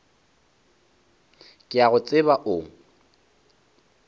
ke a go tseba o